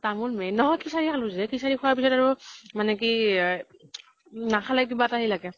তামোল main নহয় খিচাৰী খালো যে খিচাৰী খোৱাৰ পিছত আৰু মানে কি নাখালে কিবা এটা হেই লাগে।